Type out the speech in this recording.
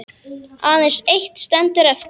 Aðeins eitt stendur eftir.